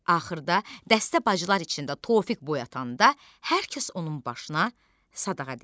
Axırda dəstə bacılar içində Tofiq boyatanda hər kəs onun başına sadağa deyir.